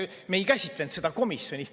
Me ei käsitlenud seda komisjonis.